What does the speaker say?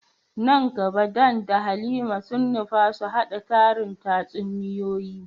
Nan gaba Dan da Halima sun nufa su hada tarin tatsuniyoyi.